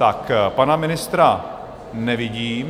Tak pana ministra nevidím.